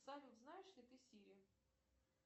салют знаешь ли ты сири